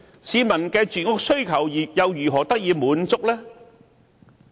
市民的住屋需求又如何得以滿足呢？